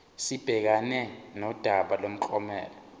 sibhekane nodaba lomklomelo